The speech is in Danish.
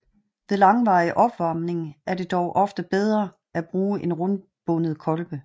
Ved langvarig opvarmning er det dog ofte bedre at bruge en rundbundet kolbe